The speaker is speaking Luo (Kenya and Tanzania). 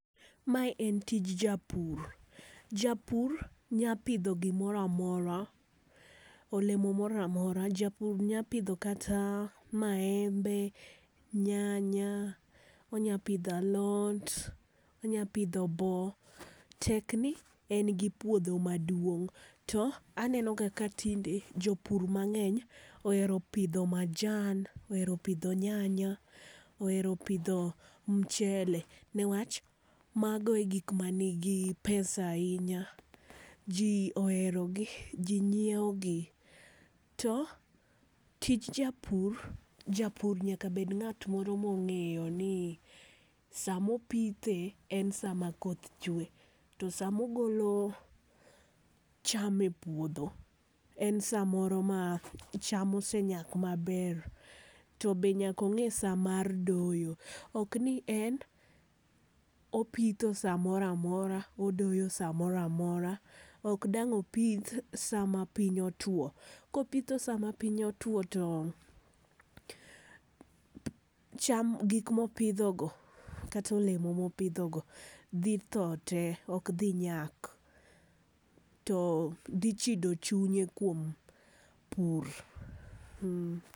Ma en tich japur, japur nya pidho gi moro amora, olemo moro amora, japur nyalo pidho kata maembe, nyanya, onya pidho alot, onya pidho boo, tek ni en gi puodho maduong'. To aneno ga tinde, jopur ma ng'eny ohero pidho majan, ohero pidho nyanya, ohero pidho mchele ne wach mago e gik man gi pesa ainya. Ji ohero gi, ji ng'iewo gi. To tij japur, japur onego obed ng'a moro ma ong'eyo ni saa ma opithe en saa ma koth chwe to saa ma ogolo cham e puodho en saa moro ma cham osenyak ma ber. To be nyaka ing'e saa mar doyo, ok ni en opitho saa moro amora odoyo sa moro amora. Ok dang opith saa ma piny otwo. Ko opitho saa ma piny otwo to cham gik ma opidho go kata olemo ma opidho go dhi thoo tee to ok dhi nyak to dhi chido chunye kuom pur.